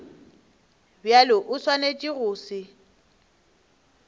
bjalo o swanetše go se